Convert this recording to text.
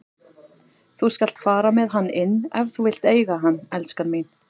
Þú skalt fara með hann inn ef þú vilt eiga hann, elskan mín.